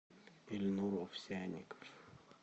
ильнур овсянников